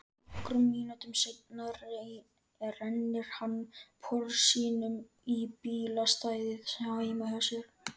Nokkrum mínútum seinna rennir hann Porsinum í bílastæðið heima hjá